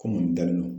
Ko mun dalen don